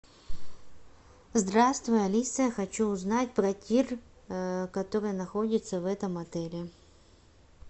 здравствуй алиса хочу узнать про тир который находится в этом отеле